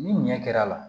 Ni ɲɛ kɛr'a la